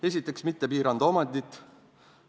Esiteks, mitte piirata omandit.